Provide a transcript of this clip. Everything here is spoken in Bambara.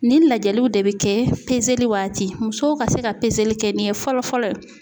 Nin lajɛliw de bɛ kɛ pezeli waati musow ka se ka pezeli kɛ nin ye fɔlɔ fɔlɔ.